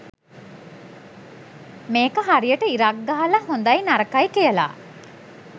මේක හරියට ඉරක් ගහලා හොදයි නරකයි කියලා